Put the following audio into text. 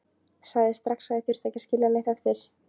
Sagði strax að ég þyrfti ekki að skilja neitt eftir.